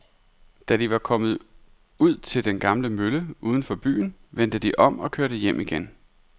Da de var kommet ud til den gamle mølle uden for byen, vendte de om og kørte hjem igen.